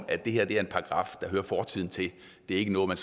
at det her er en paragraf der hører fortiden til det er ikke noget man